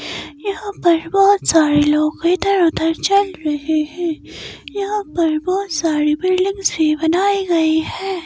यहां पर बहुत सारे लोग इधर-उधर चल रहे हैं यहां पर बहुत सारी बिल्डिंग्स भी बनाई गई हैं।